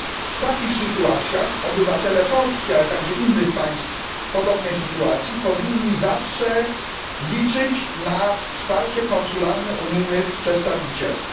W takich sytuacjach obywatele Polski, ale także innych państw, powinni zawsze liczyć na wsparcie konsularne unijnych przedstawicielstw.